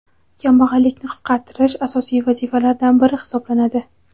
kambag‘allikni qisqartirish asosiy vazifalardan biri hisoblanadi.